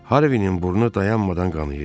Harvinin burnu dayanmadan qanayırdı.